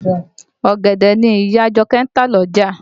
Ọ̀gẹ̀dẹ̀ ni ìyá Àjọkẹ́ ń tà lọ́jà